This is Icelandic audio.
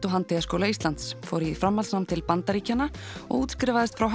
og handíðaskóla Íslands fór í framhaldsnám til Bandaríkjanna og útskrifaðist frá